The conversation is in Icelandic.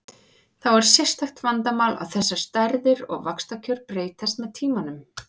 Þá er sérstakt vandamál að þessar stærðir og vaxtakjör breytast með tímanum.